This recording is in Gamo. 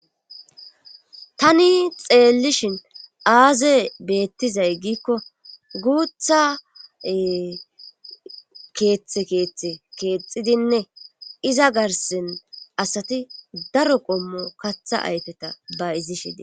tani xeellishin aaze beettizay giikko guutha keeththe keeththe keexidinne iza garsen asati daro qommo katha ayteta ba izi shidi